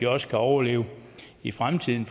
også kan overleve i fremtiden